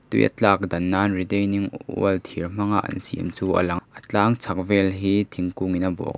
tui a tlak dan nan retaining oil thir hmang a an siam chu a lang a a tlang chhak vel hi thingkung in a bawh--